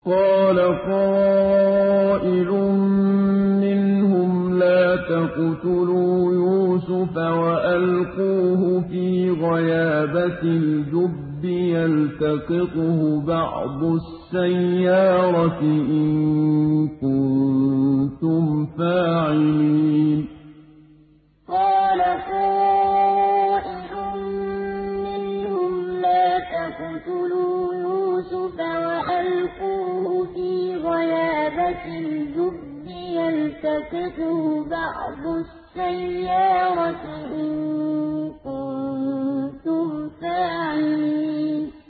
قَالَ قَائِلٌ مِّنْهُمْ لَا تَقْتُلُوا يُوسُفَ وَأَلْقُوهُ فِي غَيَابَتِ الْجُبِّ يَلْتَقِطْهُ بَعْضُ السَّيَّارَةِ إِن كُنتُمْ فَاعِلِينَ قَالَ قَائِلٌ مِّنْهُمْ لَا تَقْتُلُوا يُوسُفَ وَأَلْقُوهُ فِي غَيَابَتِ الْجُبِّ يَلْتَقِطْهُ بَعْضُ السَّيَّارَةِ إِن كُنتُمْ فَاعِلِينَ